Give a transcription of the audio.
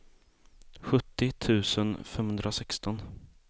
sjuttio tusen femhundrasexton